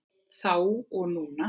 Þá og núna.